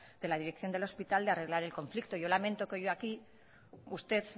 de la dirección del hospital de arreglar el conflicto yo lamento que hoy aquí usted